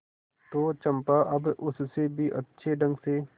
तो चंपा अब उससे भी अच्छे ढंग से